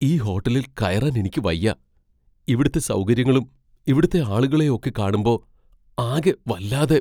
ഈ ഹോട്ടലിൽ കയറാൻ എനിക്ക് വയ്യാ. ഇവിടുത്തെ സൗകര്യങ്ങളും ഇവിടുത്തെ ആളുകളെയും ഒക്കെ കാണുമ്പോ അകെ വല്ലാതെ.